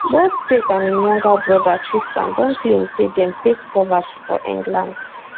both tate and im younger broda tristan don claim say dem face poverty for england